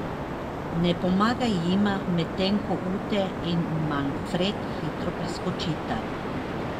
Ne pomagam jima, medtem ko Ute in Manfred hitro priskočita.